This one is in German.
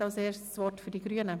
Das Wort haben die Fraktionen.